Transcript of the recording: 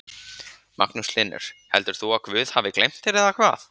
Magnús Hlynur: Heldur þú að guð hafi gleymt þér eða hvað?